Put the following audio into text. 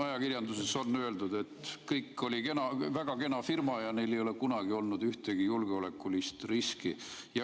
Ajakirjanduses on öeldud, et kõik oli kena, väga kena firma, ja neil ei ole kunagi olnud ühtegi julgeolekulist riski.